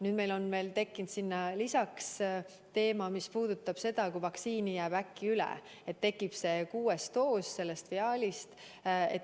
Nüüd on meil tekkinud lisaks teema, mis puudutab seda, kui vaktsiini jääb üle, nii et tekib see kuues doos viaalist.